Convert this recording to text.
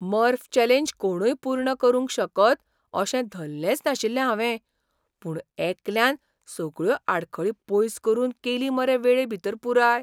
मर्फ challenge कोणूय पूर्ण करूंक शकत अशें धल्लेंच नाशिल्लें हावें. पूण एकल्यान सगळ्यो आडखळी पयस करून केली मरे वेळेभीतर पुराय!